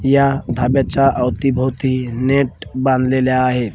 या धाब्याचा अवतीभवती नेट बांधलेले आहेत.